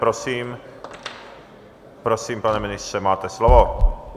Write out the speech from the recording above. Prosím, prosím pane ministře, máte slovo.